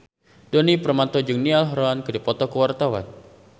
Djoni Permato jeung Niall Horran keur dipoto ku wartawan